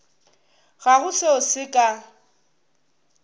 ga go seo se ka